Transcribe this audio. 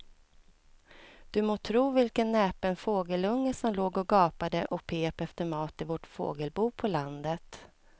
Du må tro vilken näpen fågelunge som låg och gapade och pep efter mat i vårt fågelbo på landet.